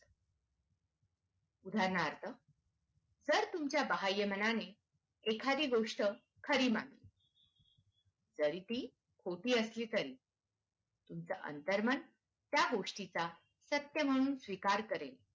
उदारणार्थ. जर तूच बाहय मानाने एखादी गोस्ट खरी मानली तरी ती खोटी असली तरी तुमचं अंतर्मन त्या गोष्टी चा सत्य म्हणून स्वीकार करेल.